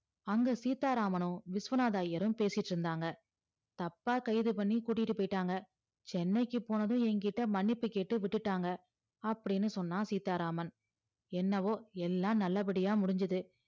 அங்க சீத்தாராமனும் விஸ்வநாதர் ஐயரும் பேசிட்டு இருந்தாங்க தப்பா கைது பண்ணி குட்டிட்டு போயிட்டாங்க சென்னைக்கு போனதும் என்கிட்ட மன்னிப்பு கேட்டு விட்டுடாங்கா அப்டின்னு சொன்னா சீத்தாராமன் என்னோவோ எல்லாம் நல்ல படியா முடிசிச்சி